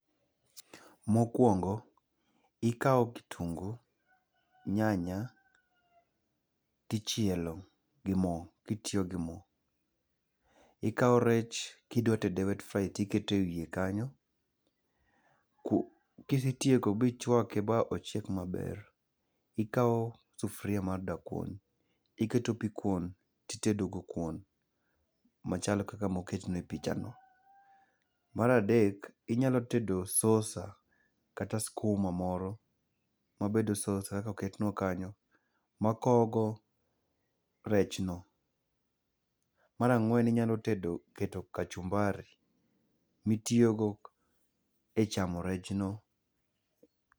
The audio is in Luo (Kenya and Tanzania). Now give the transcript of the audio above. Mokuongo ikawo kitungu, nyanya, to ichielo gi mo kitiyo gimo. Ikawo rech kidwa tede wet fry to iketo ewiye kanyo ka isetiko ma ichuake ma ochiek maber, ikawo sufuria mar da kuon to iketo pi kuon, itedo go kuon machal kaka moketne e pichano. Mar adek, inyalo tedo sauce kata sukuma moro mabedo sauce koketnwa kanyo ma wakowo go rechno. Mar ang'wen inyalo tedo keto kachumbari mitiyogo e chamo rechno.